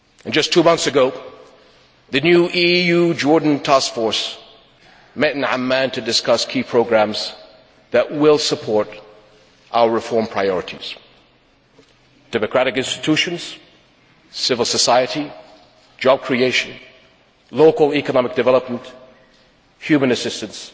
Just two months ago the new EU Jordan Task Force met in Amman to discuss key programmes which will support our reform priorities democratic institutions, civil society, job creation, local economic development, human assistance